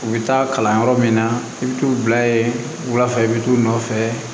U bɛ taa kalan yɔrɔ min na i bɛ t'u bila yen wulafɛ i bɛ t'u nɔfɛ